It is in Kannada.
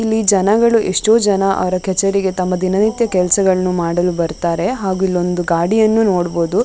ಇಲ್ಲಿ ಜನಗಳು ಎಷ್ಟೋ ಜನ ತಮ್ಮ ಕಚೇರಿಗೆ ಕೆಲಸಗಳನ್ನು ಮಾಡಲು ಬರುತ್ತಾರೆ ಹಾಗೂ ಇಲ್ಲಿ ಒಂದು ಗಾಡಿಯನ್ನು ನೋಡಬಹುದು.